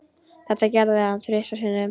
Þetta gerði hann þrisvar sinnum.